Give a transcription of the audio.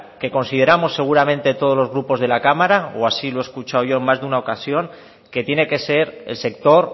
que consideramos seguramente todos los grupos de la cámara o así lo he escuchado yo en más de una ocasión que tiene que ser el sector